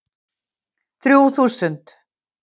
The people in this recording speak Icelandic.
Þrjú þúsund